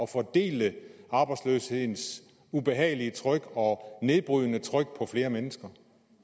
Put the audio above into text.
fordele arbejdsløshedens ubehagelige tryk og nedbrydende tryk på flere mennesker